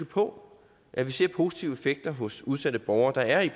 på at vi ser positive effekter hos udsatte borgere der er